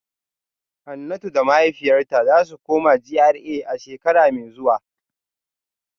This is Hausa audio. Hanatu da mahaifiyarta za su koma GRA a shekara mai zuwa